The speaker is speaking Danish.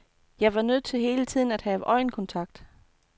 Jeg var nødt til hele tiden at have øjenkontakt.